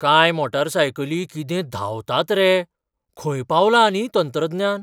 कांय मोटारसायकली कितें धांवतात रे, खंय पावलां न्ही तंत्रज्ञान!